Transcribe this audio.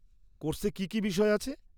কোর্সে কী কী বিষয় আছে?